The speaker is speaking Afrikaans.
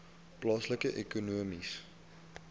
plaaslike ekonomiese